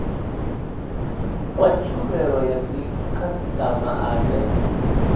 wa tshumelo ya dzikhasitama ane